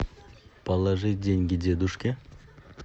положить деньги дедушке